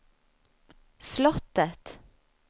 slottet